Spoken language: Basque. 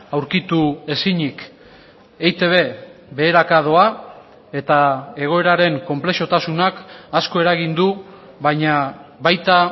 aurkitu ezinik eitb beheraka doa eta egoeraren konplexutasunak asko eragin du baina baita